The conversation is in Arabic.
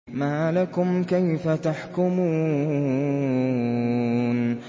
مَا لَكُمْ كَيْفَ تَحْكُمُونَ